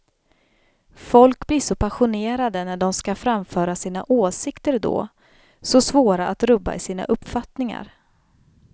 Folk blir så passionerade när de ska framföra sina åsikter då, så svåra att rubba i sina uppfattningar.